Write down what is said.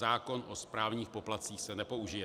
Zákon o správních poplatcích se nepoužije.